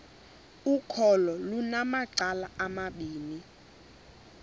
ukholo lunamacala amabini